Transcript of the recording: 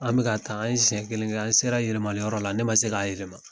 An be k'a ta , an ye siyɛ kelen kɛ. An sera yɛlɛmali yɔrɔ la, ne ma se k'a yɛlɛma.